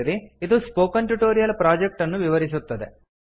ಇದು spoken tutorial project ಅನ್ನು ವಿವರಿಸುತ್ತದೆ